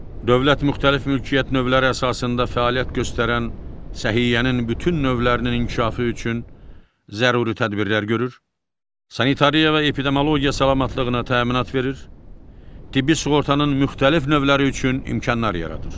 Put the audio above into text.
Dövlət müxtəlif mülkiyyət növləri əsasında fəaliyyət göstərən səhiyyənin bütün növlərinin inkişafı üçün zəruri tədbirlər görür, sanitariya və epidemiologiya salamatlığına təminat verir, tibbi sığortanın müxtəlif növləri üçün imkanlar yaradır.